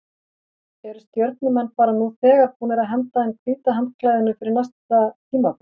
Eru Stjörnumenn bara nú þegar búnir að henda inn hvíta handklæðinu fyrir næsta tímabil?